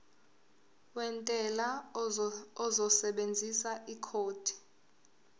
wentela uzosebenzisa ikhodi